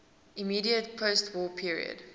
immediate postwar period